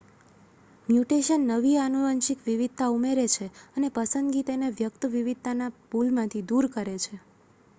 mutation નવી આનુવંશિક વિવિધતા ઉમેરે છે અને પસંદગી તેને વ્યક્ત વિવિધતાના પૂલમાંથી દૂર કરે છે